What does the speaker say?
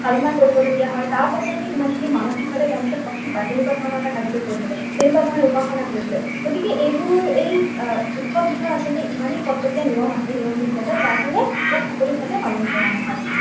সাধনা কৰিবলগীয়া হয়, তাৰপিছতহে কিমানখিনি মানসিকভাৱে তেওঁলোকে শক্তিৱান তেনেকুৱাধৰণৰ এটা কাৰ্য কৰিবলে, তেনেকুৱা ধৰণৰ উপাসনা কৰিবলে। গতিকে এইবোৰ এই আহ উৎসৱবিধত আচলতে ইমানেই কটকটীয়া নিয়ম আছে, নিয়ম বিধি আছে, যাৰ কাৰণে ইয়াক সকলো ঠাইতে পালন কৰা নহয়।